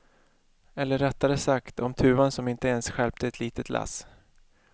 Eller rättare sagt om tuvan som inte ens stjälpte ett litet lass.